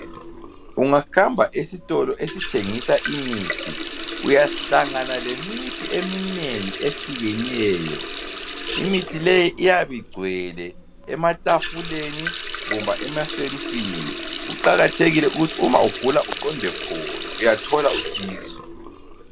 Ungahamba esitolo esithengisa imithi uyahlangana lemithi eminengi ehlukeneyo. Imithi le iyabigcwele ematafuleni loba ematshelufini. Kuqakathekile ukuthi uma ugula uqonde khona uyathola usizo.